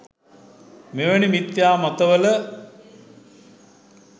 මෙවැනි මිථ්‍යා මතවල